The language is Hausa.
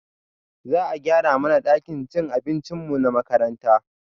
Za a gyara mana ɗakin cin abincinmu na makaranta